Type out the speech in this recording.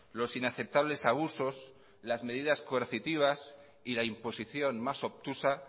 los inaceptables abusos las medidas coercitiva y la imposición más obtusa